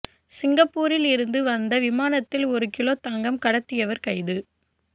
சிங்கப்பூரில் இருந்து வந்த விமானத்தில் ஒரு கிலோ தங்கம் கடத்தியவர் கைது